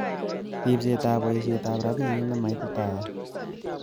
Ribset ak boisietab rabinik ne maititaat.